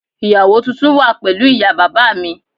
Ìyàwó tuntun wà pẹ̀lú ìyá bàbá mi